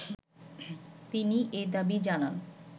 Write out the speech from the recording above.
তিনি এ দাবি জানান